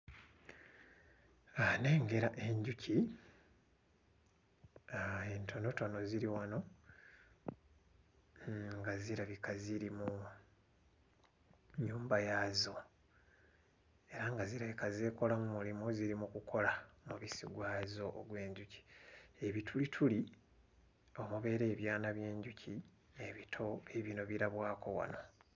Aah, nnengera enjuki, ah entonotono ziri wano nga zirabika ziri mu nnyumba yaayo era nga zirabika zeekolamu mulimu ziri mu kukola mubisi gwazo ogw'enjuki. Ebitulituli omubeera ebyana by'enjuki ebito biibino birabwako wano.